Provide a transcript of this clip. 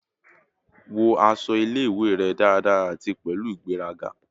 Wọ aṣọ ile-iwe rẹ daradara ati pẹlu igberaga